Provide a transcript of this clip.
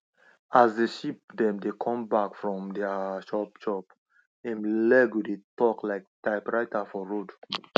as di sheep dem dey come back from their chop chop hin leg go dey talk like typewriter for road